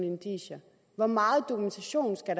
indicier hvor meget dokumentation skal